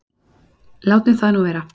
Látum það nú vera.